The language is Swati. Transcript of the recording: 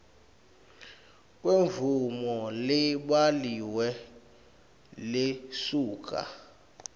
kwemvumo lebhaliwe lesuka